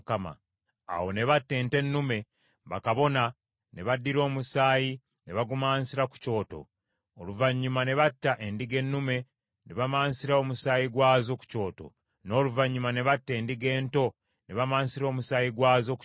Awo ne batta ente ennume, bakabona ne baddira omusaayi ne bagumansira ku kyoto, oluvannyuma ne batta endiga ennume ne bamansira omusaayi gwazo ku kyoto, n’oluvannyuma ne batta n’endiga ento ne bamansira omusaayi gwazo ku kyoto.